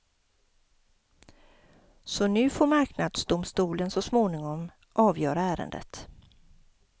Så nu får marknadsdomstolen så småningom avgöra ärendet.